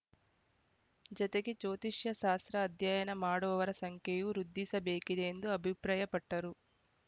ಜತೆಗೆ ಜೋತಿಷ್ಯ ಶಾಸ್ರ ಅಧ್ಯಯನ ಮಾಡುವವರ ಸಂಖ್ಯೆಯೂ ವೃದ್ಧಿಸಬೇಕಿದೆ ಎಂದು ಅಭಿಪ್ರಾಯಪಟ್ಟರು